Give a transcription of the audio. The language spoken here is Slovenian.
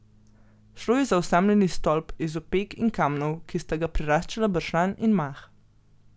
Šlo je za osamljeni stolp iz opek in kamnov, ki sta ga preraščala bršljan in mah.